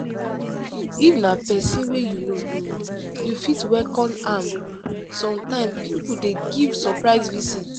if na person wey you know um you fit welcome am sometime pipo dey give surprise visit